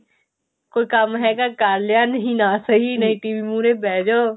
ਕੋਈ ਕੰਮ ਹੈਗਾ ਕਰ ਲਿਆ ਨਹੀਂ ਨਾ ਸਹੀ ਨਹੀਂ TV ਮੁਹਰੇ ਬਿਹ ਜੋ